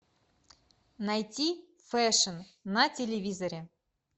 найти фэшн на телевизоре